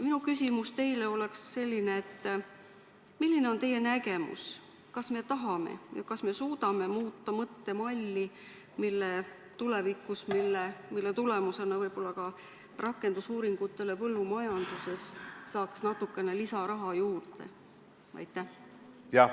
Minu küsimus teile on selline: milline on teie nägemus, kas me tahame ja kas me suudame tulevikus mõttemalli muuta, nii et selle tulemusena antaks rakendusuuringutele põllumajanduses natukene lisaraha juurde?